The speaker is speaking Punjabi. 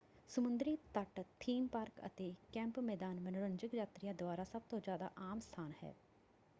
ਸਮੁੰਦਰੀ ਤੱਟ ਥੀਮ ਪਾਰਕ ਅਤੇ ਕੈਂਪ ਮੈਦਾਨ ਮਨੋਰੰਜਕ ਯਾਤਰੀਆਂ ਦੁਆਰਾ ਸਭਤੋਂ ਜ਼ਿਆਦਾ ਆਮ ਸਥਾਨ ਹੈ।